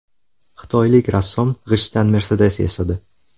Xitoylik rassom g‘ishtdan Mercedes yasadi.